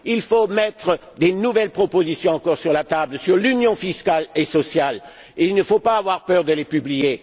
Il faut mettre encore de nouvelles propositions sur la table, sur l'union fiscale et sociale, et il ne faut pas avoir peur de les publier.